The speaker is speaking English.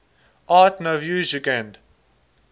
art nouveau jugend